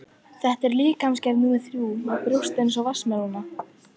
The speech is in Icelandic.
Þetta er líkamsgerð númer þrjú, með brjóst eins og vatnsmelónur.